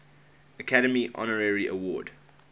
academy honorary award